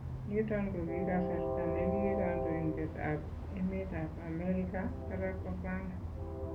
"Niton kokikasarta ne kii kandoindetab emeetab Amerika Barack Obama